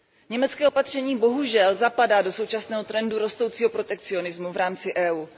Německé opatření bohužel zapadá do současného trendu rostoucího protekcionismu v rámci EU.